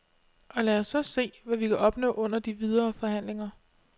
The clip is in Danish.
Og lad os så se, hvad vi kan opnå under de videre forhandlinger.